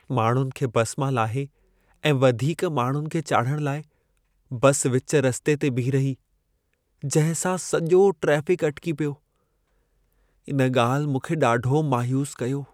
माण्हुनि खे बस मां लाहे ऐं वधीक माण्हुनि खे चाढ़िहण लाइ बस विच रस्ते ते बीह रही, जंहिं सां सॼो ट्रेफ़िक अटिकी पियो। इन ॻाल्हि मूंखे ॾाढो मायूसु कयो।